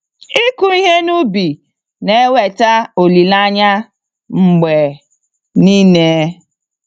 Ịkụ ihe n'ubi na eweta olileanya mgbe nile.